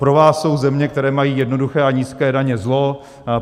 Pro vás jsou země, které mají jednoduché a nízké daně, zlo.